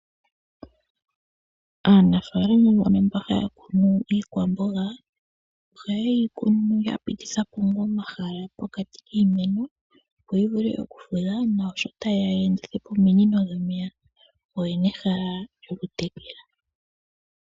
Aanafaalama yamwe mbono haya kunu iikwamboga oha ye yi kunu ya pitithapo omahala pokati kiimeno opp yivulu okufudha, naashoka ta yeya ya endithepo ominino dhomeya oyina ehala lyoku tekela.